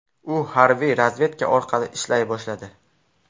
U harbiy razvedka orqali ishlay boshladi.